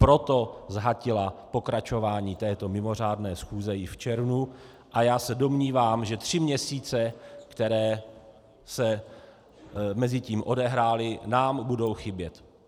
Proto zhatila pokračování této mimořádné schůze i v červnu a já se domnívám, že tři měsíce, které se mezitím odehrály, nám budou chybět.